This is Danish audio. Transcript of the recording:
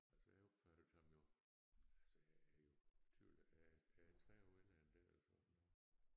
Altså jeg opfattede ham jo altså jeg er jo 20 jeg er er 30 år ældre end dig eller sådan noget